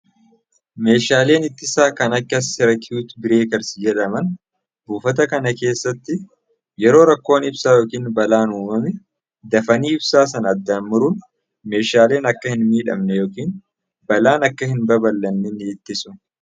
Meeshaaleen ittisaa kanneen akka serkiwuut bireekersi jedhaman buufata kana keessatti yeroo rakkoon yookiin balaan ibsaa uummame dafanii ibsaa sana addaan murruun meeshaaleen akka balaan sun hin babal'anne ittisuudha.